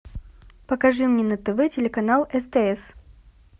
покажи мне на тв телеканал стс